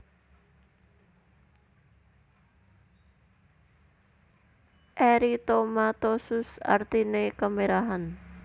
Eritomatosus artine kemerahan